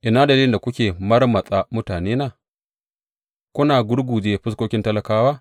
Ina dalilin da kuke marmatsa mutanena kuna gurgurje fuskokin talakawa?